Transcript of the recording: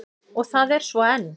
Og það er svo enn.